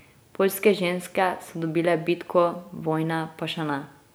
Poljske ženske so dobile bitko, vojne pa še ne.